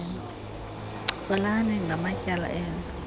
ncokolani ngamatyala enu